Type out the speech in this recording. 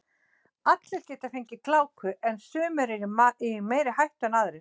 allir geta fengið gláku en sumir eru í meiri hættu en aðrir